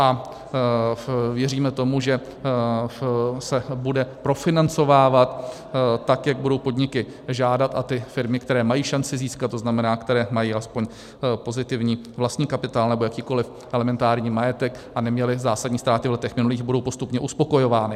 A věříme tomu, že se bude profinancovávat tak, jak budou podniky žádat, a ty firmy, které mají šanci získat, to znamená, které mají aspoň pozitivní vlastní kapitál nebo jakýkoliv elementární majetek a neměly zásadní ztráty v letech minulých, budou postupně uspokojovány.